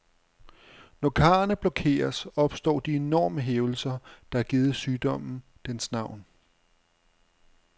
Når karrene blokeres, opstår de enorme hævelser, der har givet sygdommen dens navn.